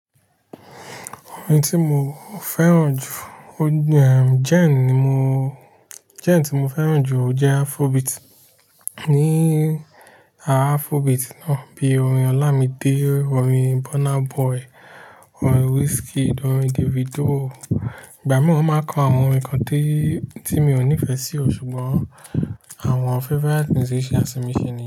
Orin tí mo fẹ́ràn jù, o ehm, genre ní mo, genre tí mo fẹ́ràn jù jẹ́ Afrobeat. Ni Afrobeat náà bíi orin Olamide, orin Burna Boy, orin Wizkid, orin Davido. Ìgbà mìíràn wọn máa ń kọ àwọn orin kan tí, tí mi ò nífẹ̀ẹ́ sí, ṣùgbọ́n àwọn favorite musician mi ṣì ni.